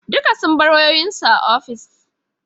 Duka sun bar wayoyin su a office